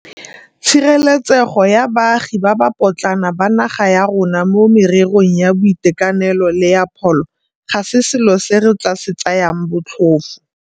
Tshireletsego ya baagi ba ba potlana ba naga ya rona mo mererong ya boitekanelo le ya pholo ga se selo se re tla se tsayang botlhofo.